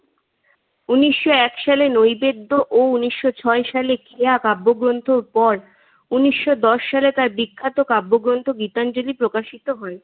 উনিশশো এক সালে নৈবেদ্য ও উনিশশো ছয় সালে কেয়া কাব্যগ্রন্থর পর উনিশশো দশ সালে তার বিখ্যাত কাব্যগ্রন্থ গীতাঞ্জলী প্রকাশিত হয়।